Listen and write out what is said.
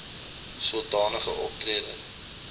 soda nige optrede